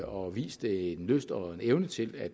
og har vist en lyst og en evne til at